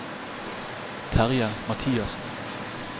Terje Mathiassen